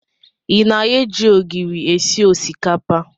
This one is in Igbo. I na-eji ogiri esi osikapa?